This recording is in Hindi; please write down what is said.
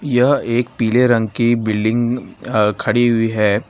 यह एक पीले रंग की बिल्डिंग आ खड़ी हुई है।